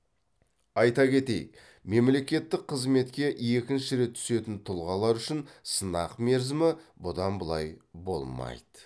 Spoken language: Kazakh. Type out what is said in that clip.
айта кетейік мемлекеттік қызметке екінші рет түсетін тұлғалар үшін сынақ мерзімі бұдан былай болмайды